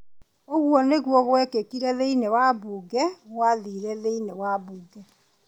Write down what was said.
Ũguo nĩguo gwĩkĩkire thĩinĩ wa mbunge gwathire thĩinĩ wa mbunge.